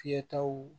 Fiyɛtaw